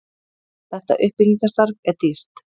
Þetta uppbyggingarstarf er dýrt.